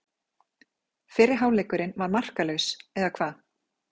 Fyrri hálfleikurinn var markalaus, eða hvað?